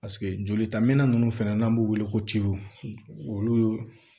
Paseke jolita minɛn ninnu fɛnɛ n'an b'u wele ko olu ye